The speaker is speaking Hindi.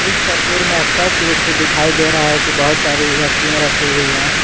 इस तस्वीर में अस्पष्ट रूप से दिखाई दे रहा है कि बहोत सारी वस्तुएं रखी हुई हैं।